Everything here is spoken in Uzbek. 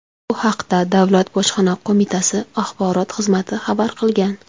Bu haqda Davlat bojxona qo‘mitasi Axborot xizmati xabar qilgan .